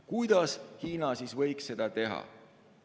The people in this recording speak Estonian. Kuidas Hiina võiks seda teha?